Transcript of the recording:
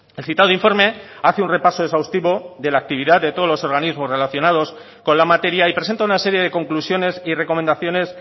el citado informe hace un repaso exhaustivo de la actividad de todos los organismos relacionados con la materia y presenta una serie de conclusiones y recomendaciones